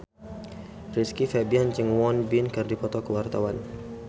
Rizky Febian jeung Won Bin keur dipoto ku wartawan